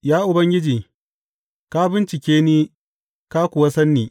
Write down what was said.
Ya Ubangiji, ka bincike ni ka kuwa san ni.